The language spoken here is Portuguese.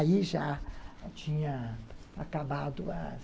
Aí já tinha acabado as...